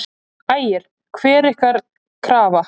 Ægir: Hver er ykkar krafa?